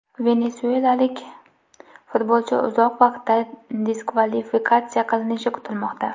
Venesuelalik futbolchi uzoq vaqtda diskvalifikatsiya qilinishi kutilmoqda.